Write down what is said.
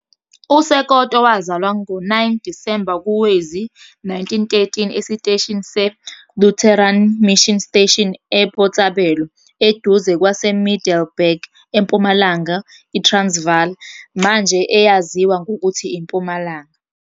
USekoto wazalwa ngo-9 Disemba kowezi-1913 esiteshini se-Lutheran Mission Station eBotshabelo, eduze kwaseMiddelburg, eMpumalanga iTransvaal, manje eyaziwa ngokuthi iMpumalanga.